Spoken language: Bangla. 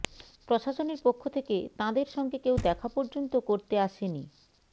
প্রশাসনের পক্ষ থেকে তাঁদের সঙ্গে কেউ দেখা পর্যন্ত করতে আসেনি